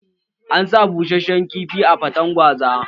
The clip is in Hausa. An sa bussashen kifi a faten gwaza